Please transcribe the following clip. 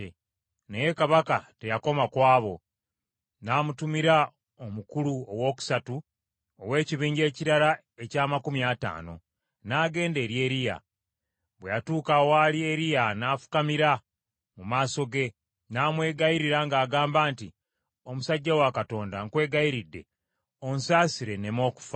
Naye kabaka teyakoma ku abo, n’amutumira omukulu owookusatu ow’ekibinja ekirala eky’amakumi ataano, n’agenda eri Eriya. Bwe yatuuka awaali Eriya n’afukamira mu maaso ge, n’amwegayirira ng’agamba nti, “Omusajja wa Katonda nkwegayiridde, onsasire, nneme okufa.